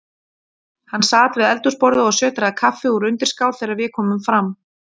Hann sat við eldhúsborðið og sötraði kaffi úr undirskál þegar við komum fram.